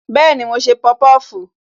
Bẹẹni, mo ń ṣe popofu.